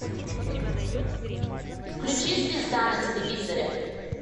включи звезда на телевизоре